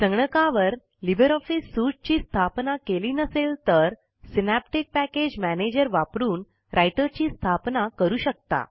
संगणकावर Libre Office suite ची स्थापना केली नसेल तर सिनॅप्टिक पॅकेज मॅनेजर वापरून राइटर ची स्थापना करू शकता